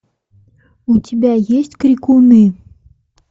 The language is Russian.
у тебя есть крикуны